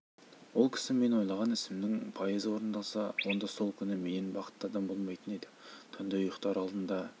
ол кісі мен ойлаған ісімнің пайызы орындалса онда сол күні менен бақытты адам болмайтын еді түнде ұйықтар алдында